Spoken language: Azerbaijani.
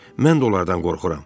Mən də onlardan qorxuram.